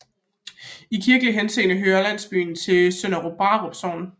I kirkelig henseende hører landsbyen til Sønder Brarup Sogn